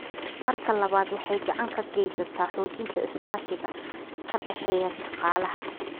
Marka labaad, waxay gacan ka geysataa xoojinta iskaashiga ka dhexeeya shaqaalaha.